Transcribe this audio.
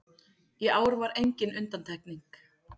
Í ár var engin undantekning